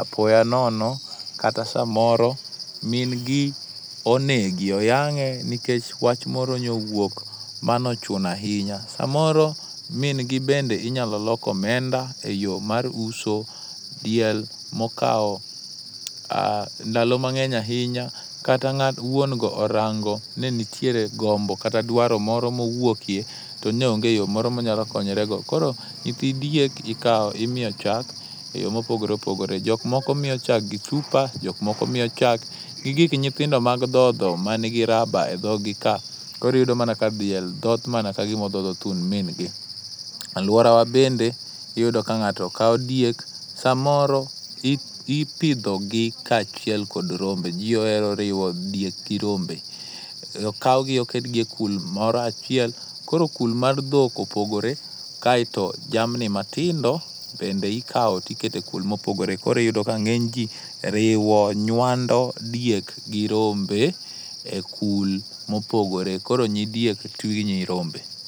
apoya nono kata samoro min gi onegi oyang'e nikech wach moro nyo owuok, mano ochuno ahinya. Samoro min gi bende inyalo lok omenda eyo mar uso. aDiel mokawo ndalo mang'eny ahinya kata wuon go orango ni nitiere gombo kata dwaro moro mowuokie to nyo onge yo moro monyalo konyrego. Koro nyithidiek ikawo imiyo chak eyo mopogore opogore, jok moko miyo chak gi chupa jok moko kawo gik nyithindo mag dhodho man gi raba edhogi koro iyudo ka diel dhoth mana ka gima odhodho thund min gi. Aluorawa bende iyudo ka nd'ato kawo diek samoro ipidho gi kaachiel kod rombe, ji ohero riwo diek gi rombe, okaw gi oketgi e kul moroachiel koro kul mar dhok opogore kaeto jamni matindo bende ikawo to ikete ekul mopogoe koro yudo ka ng'eny ji riwo, nyuando diek gi rombe ekul mopogore koro nyi diek otwe ginyirombe